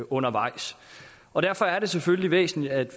undervejs og derfor er det selvfølgelig væsentligt at